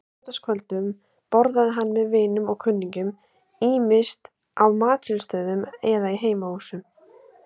Á laugardagskvöldum borðaði hann með vinum og kunningjum, ýmist á matsölustöðum eða í heimahúsum.